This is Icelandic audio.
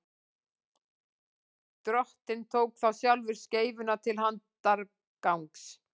drottinn tók þá sjálfur skeifuna til handargagns